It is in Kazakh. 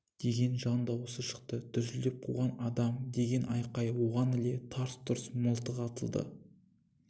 деген жан дауысы шықты дүрсілдеп қуған адам деген айқай оған іле тарс-тұрс мылтық атылды